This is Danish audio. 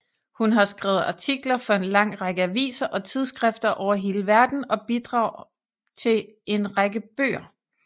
Hun har skrevet artikler for en lang række aviser og tidsskrifter over hele verden og bidrag til en række bøger